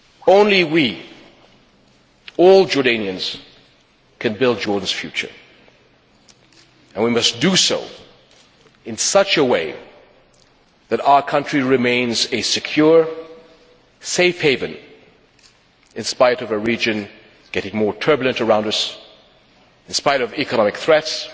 Only we, all Jordanians, can build Jordan's future, and we must do so in such a way that our country remains a secure, safe haven in spite of a region becoming more turbulent around us, in spite of economic threats,